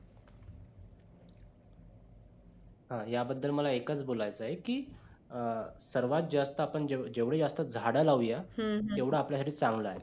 या बदल मला एकच बोलायच आहे कि अं सर्वात जास्त आपण जेवढी जेवढी जास्त झाडं लावूया हम्म हम्म तेवढं आपल्यासाठी चांगलं आहे.